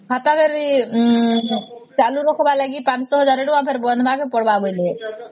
ଖାତା କିରି ଚାଲୁ ରଖିବା ଲାଗି ପାଞ୍ଚ ଶହ ଏକ ହଜାର ଟଙ୍କା ଫେର ବନିବଙ୍କ ପଡ଼ିବର ବୋଲି